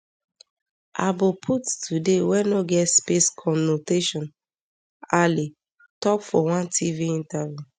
aboput today wey no get space conotation ale tok for one tv interview